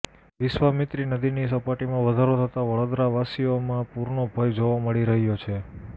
વિશ્વામિત્રી નદીની સપાટીમાં વધારો થતા વડોદરાવાસીઓમાં પૂરનો ભય જોવા મળી રહ્યો છે